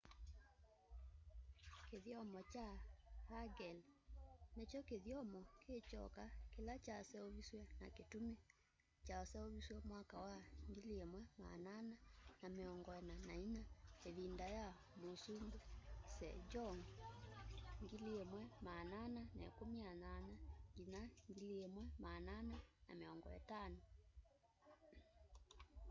kithyomo kya hangeul ni kyo kithyomo ki kyoka kila kyaseuvisye na kitumi. kyaseuvisye mwaka wa 1444 ivinda ya musumbi sejong 1418-1450